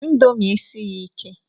Índomi esighi ike